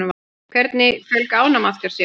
Hvernig fjölga ánamaðkar sér?